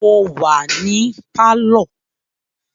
Mo wà ní pálọ̀